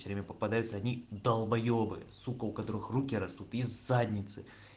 все время попадаются одни долбаебы сука у которых руки растут из задницы